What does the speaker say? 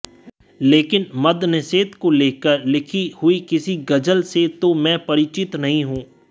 लेकिन मद्यनिषेध को लेकर लिखी हुई किसी गज़़ल से तो मैं परिचित नहीं हूं